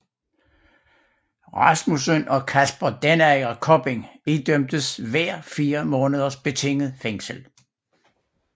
Rasmussen og Kasper Denager Kopping idømtes hver fire måneders betinget fængsel